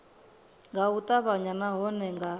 nga u ṱavhanya nahone nga